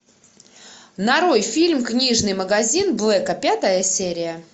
нарой фильм книжный магазин блэка пятая серия